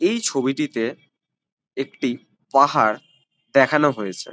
এই ছবিটিতে একটি পাহাড় দেখানো হয়েছে।